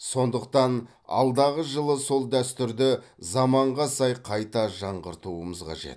сондықтан алдағы жылы сол дәстүрді заманға сай қайта жаңғыртуымыз қажет